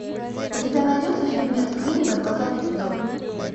у тебя найдется фильмец клиника двадцатый эпизод